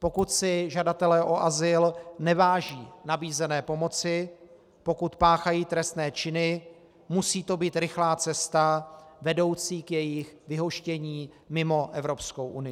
Pokud si žadatelé o azyl neváží nabízené pomoci, pokud páchají trestné činy, musí to být rychlá cesta vedoucí k jejich vyhoštění mimo Evropskou unii.